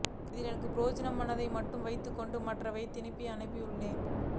அதில் எனக்கு பிரயோஜனமானத்தை மட்டும் வைத்துக் கொண்டு மற்றவைகளை திருப்பி அனுப்பியுள்ளேன்